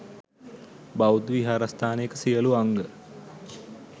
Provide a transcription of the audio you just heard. බෞද්ධ විහාරස්ථානයක සියලු අංග